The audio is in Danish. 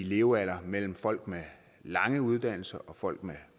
levealder mellem folk med lange uddannelser og folk med